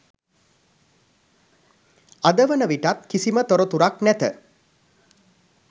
අද වන විටත් කිසිම තොරතුරක් නැත.